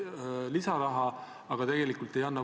Samuti tehakse X-teega liitumine lihtsamaks.